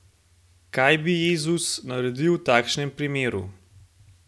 Kaj bi Jezus naredil v takšnem primeru?